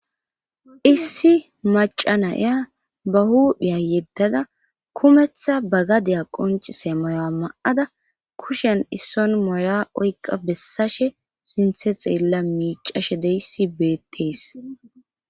issi maca naya ba huuphiya yeddada kumetha bagadeya qoncise moya ma'ada kushen isson moya oyiqa bessashe sinthe xeella miicashe deyssi beettees